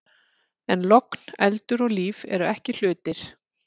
En logn, eldur og líf eru ekki hlutir.